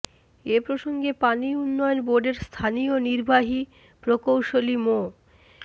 এ প্রসঙ্গে পানি উন্নয়ন বোর্ডের স্থানীয় নির্বাহী প্রকৌশলী মো